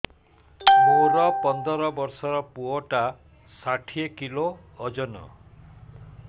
ମୋର ପନ୍ଦର ଵର୍ଷର ପୁଅ ଟା ଷାଠିଏ କିଲୋ ଅଜନ